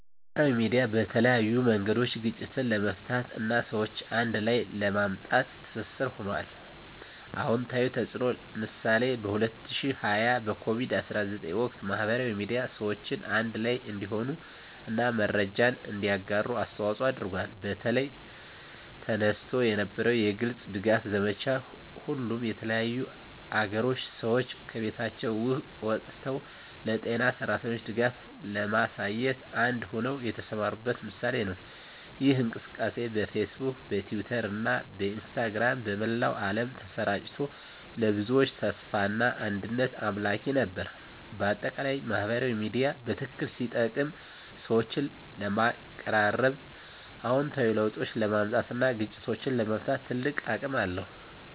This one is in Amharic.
ማህበራዊ ሚዲያ በተለያዩ መንገዶች ግጭትን ለመፍታት እና ሰዎችን አንድ ላይ ለማምጣት ትስስር ሆኗል። #*አዎንታዊ ተፅዕኖ (ምሳሌ) በ2020 በኮቪድ-19 ወቅት፣ ማህበራዊ ሚዲያ ሰዎችን አንድ ላይ እንዲሆኑ እና መረጃን እንዲያጋሩ አስተዋፅዖ አድርጓል። በተለይ፣ ተነስቶ የነበረው የግልጽ ድጋፍ ዘመቻ፣ ሁሉም የተለያዩ አገሮች ሰዎች ከቤቶቻቸው ወጥተው ለጤና ሠራተኞች ድጋፍ ለማሳየት አንድ ሆነው የተሰማሩበት ምሳሌ ነው። ይህ እንቅስቃሴ በፌስቡክ፣ በትዊተር እና በኢንስታግራም በመላው ዓለም ተሰራጭቶ፣ ለብዙዎች ተስፋና አንድነት አምላኪ ነበር። በአጠቃላይ፣ ማህበራዊ ሚዲያ በትክክል ሲጠቀም ሰዎችን ለማቀራረብ፣ አዎንታዊ ለውጦችን ለማምጣት እና ግጭቶችን ለመፍታት ትልቅ አቅም አለው።